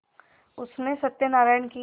उसने सत्यनाराण की